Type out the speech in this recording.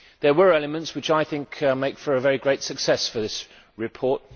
There were elements which make for a very great success for this report.